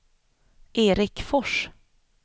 Erik Fors